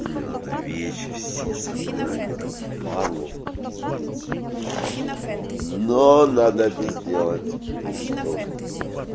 мне надо вещи все собрать мне так впадлу пиздец но надо это сделать так что